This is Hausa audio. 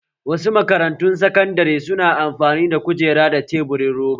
Wasu makarantun sakandare su na amfani da kujera da teburin roba